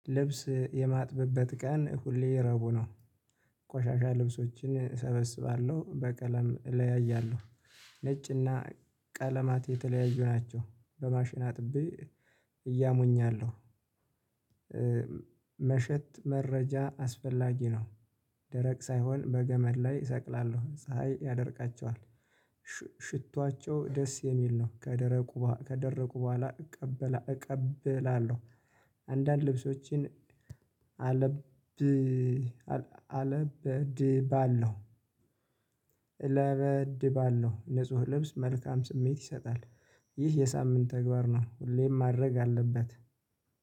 ልብስ የማጥበበት ቀን ሁሌ ረቡ ነው። ቆሻሻ ልብሶችን እሰበስባለሁ በቀለም እለያያለሁ። ነጭ እና ቀለማት የተለያዩ ናቸው በማሽን አጥቤ እያሞኛለሁ። መሸት መረጃ አስፈላጊ ነው። ደረቅ ሳይሆን በገመድ ላይ እሰቅላለሁ ፀሀይ ያደርቃቸዋል። ሽቷቸው ደስ የሚል ነው ከደረቁ ከደረቁ በኋላ እቀበላ እቀበላለሁ። አንዳንድ ልብሶችን አለብ አለብ ድባለሁ። እለበድባለው ንጹህ ልብስ መልካም ስሜት ይሰጣል። ይህ የሳምንት ተግባር ነው ሁሌም ማድረግ አለበት